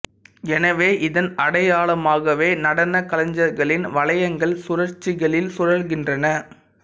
எனவே இதன் அடையாளமாகவே நடனக் கலைஞர்களின் வளையங்கள் சுழற்சிகளில் சுழல்கின்றன